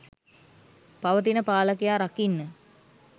පවතින පාලකයා රකින්න.